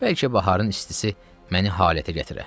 Bəlkə baharın istisi məni halətə gətirə.